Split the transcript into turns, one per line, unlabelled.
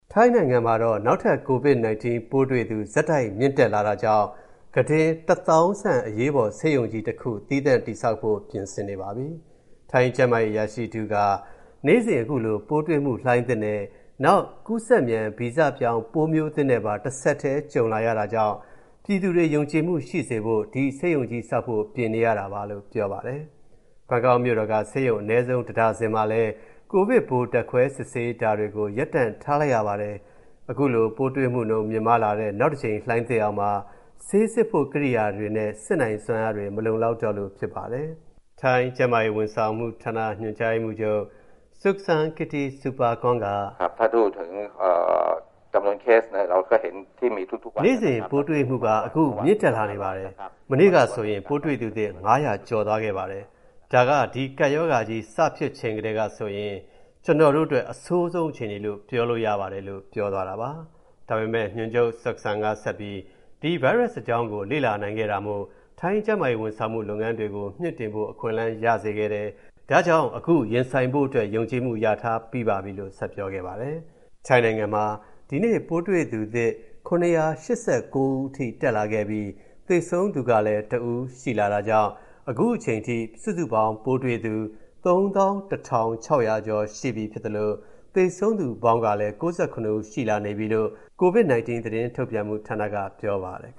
ထိုင်းနိုင်ငံမှာ နောက်ထပ် COVID-19 ပိုးတွေ့သူ ဆက်တိုက် မြင့်တက်လာတာကြောင့် ကုတင် ၁၀,၀၀၀ ဆန့် အရေးပေါ်ဆေးရုံကြီးတခု သီးသန့်တည်ဆောက်ဖို့ ပြင်ဆင်နေပါပြီ။ ထိုင်း ကျန်းမာရေးအရာရှိတဦးက နေ့စဉ် အခုလို ပိုးတွေ့မှုလှိုင်းသစ်နဲ့ နောက် ကူးစက်မြန် ဗီဇပြောင်း ပိုးမျိုးသစ်နဲ့ပါ တဆက်တည်း ကြုံလာရတာကြောင့် ပြည်သူတွေ ယုံကြည်မှုရှိစေဖို့ ဒီဆေးရုံကြီးဆောက်ဖို့ ပြင်ဆင်နေရတာပါလို့ ပြောပါတယ်။ ဘန်ကောက်မြို့တော်က ဆေးရုံ အနည်းဆုံး တဒါဇင်မှာလည်း ကိုဗစ်ပိုး ဓာတ်ခွဲစစ်ဆေးတာတွေကို ရပ်တန့်လိုက်ရပါတယ်။ အခုလို ပိုးတွေ့မှုမြင့်မားလာတဲ့ နောက်တကြိမ် လှိုင်းသစ်အောက်မှာ ဆေးစစ်ဖို့ ကိရိယာတွေနဲ့ စစ်နိုင်စွမ်းအားတွေ မလုံလောက်တော့လို့ ဖြစ်ပါတယ်။ ထိုင်း ကျန်းမာရေးဝန်ဆောင်မှုဌာန ညွှန်ကြားရေးမှူးချုပ် Suksan Kittisupakorn က...
“
နေ့စဉ် ပိုးတွေ့မှုက အခု မြင့်တက်လာနေပါတယ်။ မနေ့ကဆိုရင် ပိုးတွေ့သူသစ် ၅၀၀ ကျော်သွားခဲ့ပါတယ်။ ဒါက ဒီကပ်ရောဂါ စဖြစ်ချိန်တည်းကဆိုရင် ကျနော်တို့အတွက် အဆိုးဆုံးအခြေအနေလို့ ပြောလို့ရပါတယ်" လို့ ပြောပါတယ်။ ဒါပေမယ့် ညွှန်ချုပ် Suksan က ဆက်ပြီး ဒီဗိုင်းရပ်စ်အကြောင်းကို လေ့လာနိုင်ခဲ့တာမို့ ထိုင်းကျန်းမာရေးဝန်ဆောင်မှု လုပ်ငန်းတွေကို မြှင့်တင်ဖို့ အခွင့်အလမ်း ရစေခဲ့တယ်၊ ဒါကြောင့် အခု ရင်ဆိုင်ဖို့အတွက် ယုံကြည်မှု ရထားပြီးပါပြီလို့ ဆက်ပြောခဲ့ပါတယ်။ ထိုင်းနိုင်ငံအနေနဲ့ ဒီနေ့မှာ ပိုးတွေ့သူသစ် ၇၈၉ ဦးအထိ တက်လာခဲ့ပြီး သေဆုံးသူလည်း တဦးရှိလာတာကြောင့် ခုချိန်ထိ စုစုပေါင်း ကိုဗစ်ပိုးတွေ့သူ ၃၁,၆၀၀ ကျော်ရှိပြီဖြစ်သလို သေဆုံးသူပေါင်းလည်း ၉၇ ဦး ရှိလာနေပြီလို့ COVID-19 သတင်းထုတ်ပြန်မှုဌာနက ပြောပါတယ်။